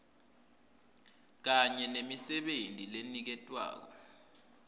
kanye nemisebenti leniketwako